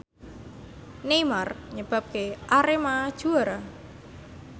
Neymar nyebabke Arema juara